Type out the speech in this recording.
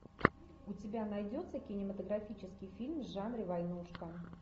у тебя найдется кинематографический фильм в жанре войнушка